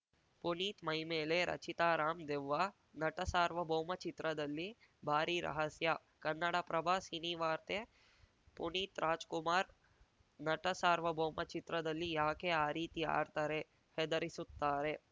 ಪುನೀತ್‌ ಮೈ ಮೇಲೆ ರಚಿತಾ ರಾಮ್‌ ದೆವ್ವ ನಟ ಸಾರ್ವಭೌಮ ಚಿತ್ರದಲ್ಲಿ ಭಾರಿ ರಹಸ್ಯ ಕನ್ನಡಪ್ರಭ ಸಿನಿವಾರ್ತೆ ಪುನೀತ್‌ರಾಜ್‌ಕುಮಾರ್‌ ನಟ ಸಾರ್ವಭೌಮ ಚಿತ್ರದಲ್ಲಿ ಯಾಕೆ ಆ ರೀತಿ ಆಡ್ತಾರೆ ಹೆದರಿಸುತ್ತಾರೆ